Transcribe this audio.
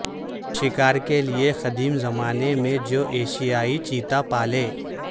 شکار کے لئے قدیم زمانے میں جو ایشیائی چیتا پالے